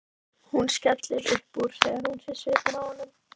Hún skellir upp úr þegar hún sér svipinn á honum.